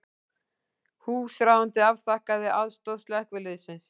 Húsráðandi afþakkaði aðstoð slökkviliðsins